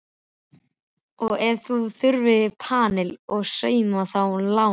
Og ef þér þurfið panil og saum, þá lána ég.